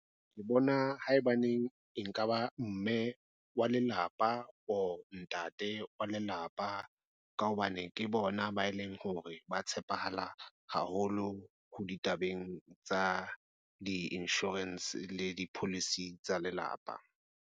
Ke bona haebaneng e nka ba mme wa lelapa or ntate wa lelapa ka hobane ke bona ba e leng hore ba tshepahala haholo ho ditabeng tsa di-insurance le di-policy tsa lelapa.